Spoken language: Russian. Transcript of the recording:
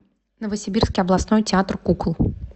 новосибирский областной театр кукол